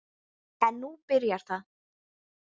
En nú byrjar það.